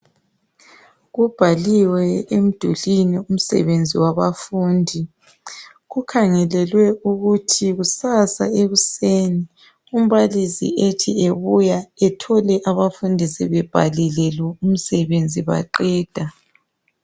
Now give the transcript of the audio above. Kubhaliwe emdulini umsebenzi wabafundi. Kukhangelelwe ukuthi kusasa ekuseni umbalisi ethi ebuya ethole abafundi sebhalile lo umsebenzi baqeda.